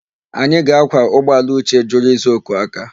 Anyị ga-ákwà ụgbọala Uche jụrụ ịza oku aka.